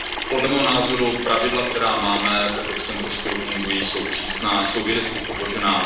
Podle mého názoru pravidla, která máme v evropském prostoru, fungují, jsou přísná, jsou vědecky podložená.